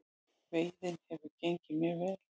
Veiðin hefur gengið mjög vel